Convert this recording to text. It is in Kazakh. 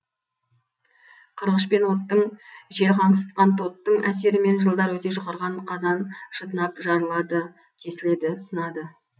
қырғыш пен оттың жел қаңсытқан тоттың әсерімен жылдар өте жұқарған қазан шытынап жарылады тесіледі сынады